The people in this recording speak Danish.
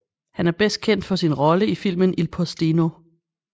Han er bedst kendt for sin rolle i filmen Il Postino